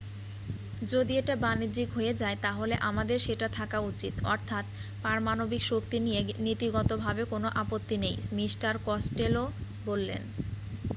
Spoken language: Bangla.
যদি এটা বাণিজ্যিক হয়ে যায় তাহলে আমাদের সেটা থাকা উচিত অর্থাৎ পারমাণবিক শক্তি নিয়ে নীতিগতভাবে কোন আপত্তি নেই মিস্টার কস্টেলো বললেন